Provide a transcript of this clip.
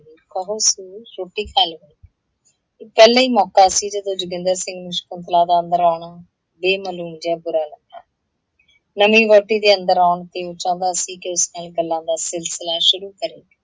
ਰੋਟੀ ਖਾਲੋ। ਇਹ ਪਹਿਲਾ ਹੀ ਮੌਕਾ ਸੀ ਜਦੋਂ ਜੋਗਿੰਦਰ ਸਿੰਘ ਨੂੰ ਸ਼ਕੁੰਤਲਾ ਦਾ ਅੰਦਰ ਆਉਣਾ ਬੇਮਲੂਮ ਜਿਹਾ ਬੂਰਾ ਲੱਗਾ । ਨਵੀਂ ਵਹੁਟੀ ਦੇ ਅੰਦਰ ਆਉਣ ਤੇ ਉਹ ਚਾਹੁੰਦਾ ਸੀ ਕਿ ਉਸ ਨਾਲ ਗੱਲਾਂ ਦਾ ਸਿਲਸਿਲਾ ਸ਼ੁਰੂ ਕਰੇ।